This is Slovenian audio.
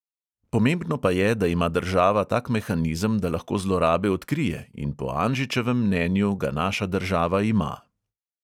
Pomembno pa je, da ima država tak mehanizem, da lahko zlorabe odkrije, in po anžičevem mnenju ga naša država ima.